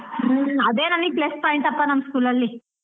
ಹ್ಮ್ ಅದೇ ನನ್ಗೆ plus point ಪಾ ನಮ್ school ಅಲ್ಲಿ.